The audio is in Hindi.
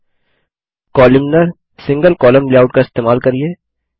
कोलमनार single कोलम्न लेआउट का इस्तेमाल करिये